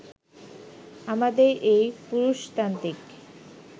আমাদের এই পুরুষতান্ত্রিক